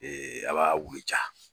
a b'a wuli ca.